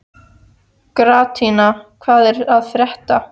Gratíana, hvað er að frétta?